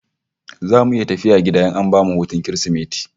Zamu iya tafiya gida in an bamu hutun Kirsimeti?